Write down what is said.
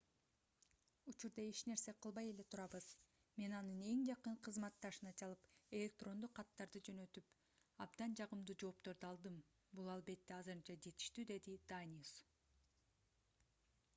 учурда эч нерсе кылбай эле турабыз мен анын эң жакын кызматташына чалып электрондук каттарды жөнөттүп абдан жагымдуу жоопторду алдым бул албетте азырынча жетиштүү - деди даниус